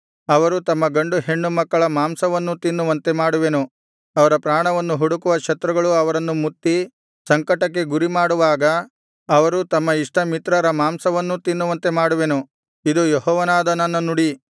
ಅವರು ತಮ್ಮ ಗಂಡು ಹೆಣ್ಣು ಮಕ್ಕಳ ಮಾಂಸವನ್ನೂ ತಿನ್ನುವಂತೆ ಮಾಡುವೆನು ಅವರ ಪ್ರಾಣವನ್ನು ಹುಡುಕುವ ಶತ್ರುಗಳು ಅವರನ್ನು ಮುತ್ತಿ ಸಂಕಟಕ್ಕೆ ಗುರಿಮಾಡುವಾಗ ಅವರು ತಮ್ಮ ಇಷ್ಟ ಮಿತ್ರರ ಮಾಂಸವನ್ನೂ ತಿನ್ನುವಂತೆ ಮಾಡುವೆನು ಇದು ಯೆಹೋವನಾದ ನನ್ನ ನುಡಿ